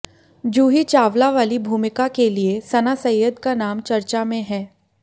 जूही चावला वाली भूमिका के लिए सना सैयद का नाम चर्चा में है